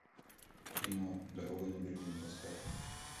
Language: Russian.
кино дорога на берлин поставь